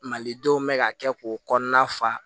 Malidenw bɛ ka kɛ k'o kɔnɔna fa